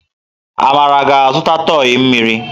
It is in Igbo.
Amara ga-azụta tọị mmiri.